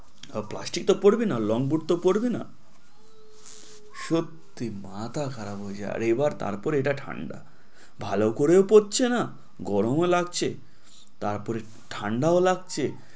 plastic তো পড়বি না long boot তো পরবি না, সত্যি মাথা খারাপ হয়ে যায়, এবার তারপরে এটা তো ঠাণ্ডা ভালো করেও পরছে না, গরম ও লাগছে তার পরেও ঠাণ্ডা লাগছে